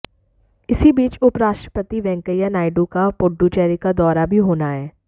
इसी बीच उपराष्ट्रपति वेंकैया नायडू का पुडुचेरी का दौरा भी होना है